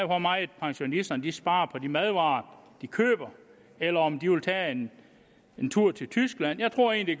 hvor meget pensionisterne sparer på de madvarer de køber eller om de vil tage en en tur til tyskland jeg tror egentlig